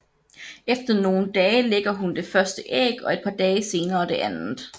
Efter nogle dage lægger hun det første æg og et par dage senere det andet